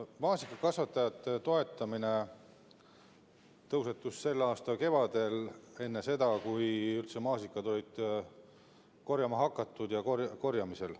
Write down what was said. Maasikakasvatajate toetamise teema tõusetus selle aasta kevadel enne seda, kui maasikaid oli üldse korjama hakatud.